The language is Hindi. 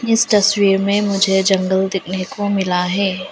इस तस्वीर में मुझे जंगल देखने को मिला है।